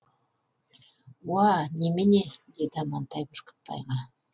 уа немене деді амантай бүркітбайға